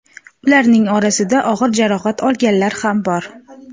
Ularning orasida og‘ir jarohat olganlar ham bor.